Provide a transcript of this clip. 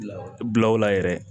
Bilaw la yɛrɛ